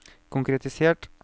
konkretisert